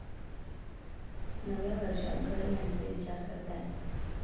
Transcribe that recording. नव्या वर्षात घर घ्यायचा विचार करताय?